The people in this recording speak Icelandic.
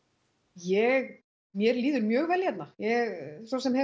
ég mér líður mjög vel hérna ég svosem hef